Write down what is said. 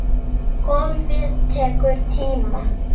Golfið tekur tíma.